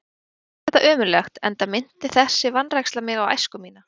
Mér fannst þetta ömurlegt, enda minnti þessi vanræksla mig á æsku mína.